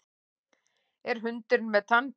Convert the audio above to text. Er hundurinn með tannpínu?